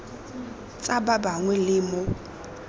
tsa ba bangwe le mo